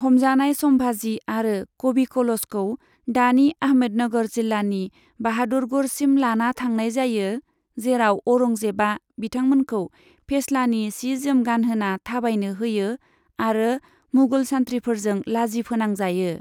हमजानाय सम्भाजी आरो कबि कलशखौ दानि आहमदनगर जिल्लानि बाहादुरगढ़सिम लाना थांनाय जायो, जेराव औरंजेबआ बिथांमोनखौ फेस्लानि सि जोम गानहोना थाबायनो होयो आरो मुगल सानथ्रिफोरजों लाजि फोनांजायो।